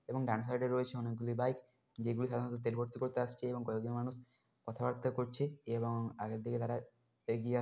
এবং ডান সাইড -এ রয়েছে অনেক গুলি বাইক যেগুলি সাধারণত তেল ভরতি করতে আসছে এবং কয়েকজন মানুষ কথা বার্তা করছে এবং আগের থেকে তারা এগিয়ে আ--